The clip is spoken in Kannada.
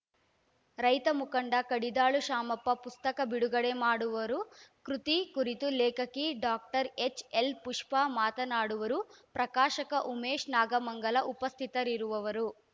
ರೈತ ಮುಖಂಡ ಕಡಿದಾಳು ಶಾಮಪ್ಪ ಪುಸ್ತಕ ಬಿಡುಗಡೆ ಮಾಡುವರು ಕೃತಿ ಕುರಿತು ಲೇಖಕಿ ಡಾಕ್ಟರ್ ಎಚ್‌ ಎಲ್‌ ಪುಷ್ಪ ಮಾತನಾಡುವರು ಪ್ರಕಾಶಕ ಉಮೇಶ್‌ ನಾಗಮಂಗಲ ಉಪಸ್ಥಿತರಿರುವರು